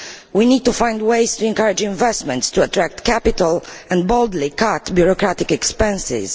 We need to find ways to encourage investment, attract capital and boldly cut bureaucratic expenses.